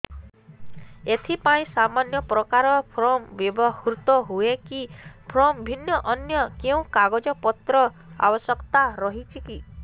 ଏଥିପାଇଁ ସମାନପ୍ରକାର ଫର୍ମ ବ୍ୟବହୃତ ହୂଏକି ଫର୍ମ ଭିନ୍ନ ଅନ୍ୟ କେଉଁ କାଗଜପତ୍ରର ଆବଶ୍ୟକତା ରହିଛିକି